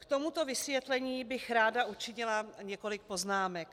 K tomuto vysvětlení bych ráda učinila několik poznámek.